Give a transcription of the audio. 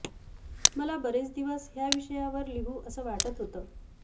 मला बरेच दिवस ह्या विषयावर लिहू असं वाटत होत